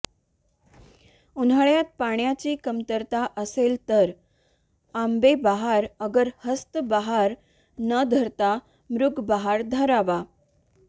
उन्हाळ्यात पाण्याची कमतरता असेल तर आंबे बहार अगर हस्त बहार न धरता मृग बहार धरावा